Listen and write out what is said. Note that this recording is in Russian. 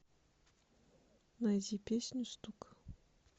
найди песню стук